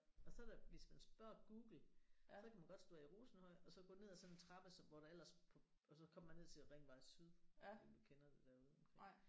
Og så da hvis man spørger Google så kan man godt stå af i Rosenhøj og så gå ned af sådan en trappe som hvor der ellers på og så kommer man ned til Ringvej Syd jeg ved ikke om du kender det derude omkring